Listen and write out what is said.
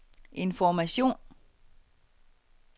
information